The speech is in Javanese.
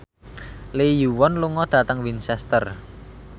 Lee Yo Won lunga dhateng Winchester